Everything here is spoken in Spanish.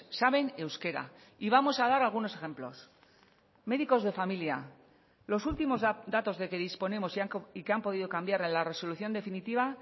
saben euskera y vamos a dar algunos ejemplos médicos de familia los últimos datos de que disponemos y que han podido cambiar en la resolución definitiva